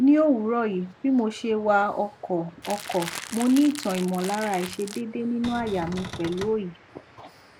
ni owuroyi bi mose wa oko oko mo ni itan imolara aisedede ninu aya mi pelu oyi